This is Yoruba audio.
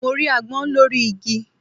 Mo rí agbón lórí igi